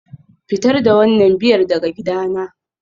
Fitar da wannan Biyar daga gidana